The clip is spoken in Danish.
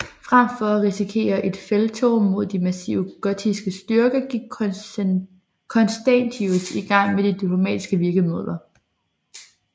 Frem for at risikere et felttog mod de massive gotiske styrker gik Constantius i gang med de diplomatiske virkemidler